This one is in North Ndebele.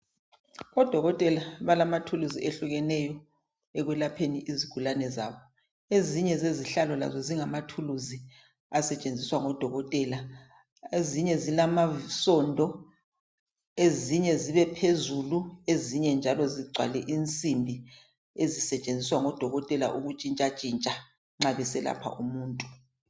Odokotela balamathuluzi ehlukeneyo ekwelapheni izigulani zabo. Ezinye zezihlala lazo zingamathuluzi ezisetshenziswa ngodokotela ezinye zilamasondo, ezinye ziphezulu ezinye njalo zigcwale insimbi ezisetshenziswa ngodokotela ukutshintshatshintsha nxa beselapha umuntu.